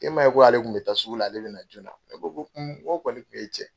K'e m'a ye ko ale kun bi taa sugu la, ale bɛna na joona, n ko nko n kɔni kun ye cɛn ye.